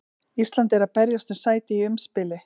Ísland er að berjast um sæti í umspili.